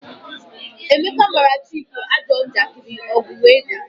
Emeka mara Chike ajọ njakiri, ọgu wee daa